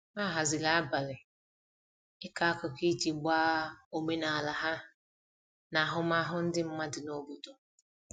ha haziri abali iko akụkụ iji gbaa omenala ha na ahụmahụ ndi madụ n'obodo